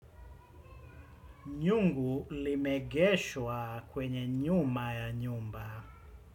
Nyungu limeegeshwa kwenye nyuma ya nyumba.